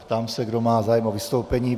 Ptám se, kdo má zájem o vystoupení.